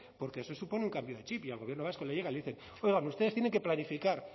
porque eso supone un cambio de chip y al gobierno vasco le llegan y le dicen oiga ustedes tienen que planificar